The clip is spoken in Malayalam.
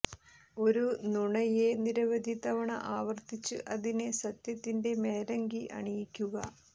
ഒരു നുണയെ നിരവധി തവണ ആവര്ത്തിച്ച് അതിനെ സത്യത്തിന്റെ മേലങ്കി അണിയിക്കുക